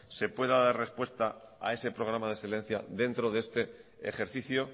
se pueda dar respuesta a ese programa de excelencia dentro de este ejercicio